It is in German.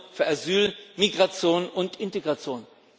Euro für Asyl, Migration und Integration.